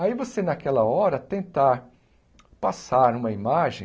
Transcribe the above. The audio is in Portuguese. Aí você, naquela hora, tentar passar uma imagem